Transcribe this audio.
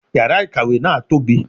Yàrà ìkàwé náà tóbi